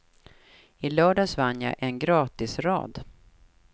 I lördags vann jag en gratisrad.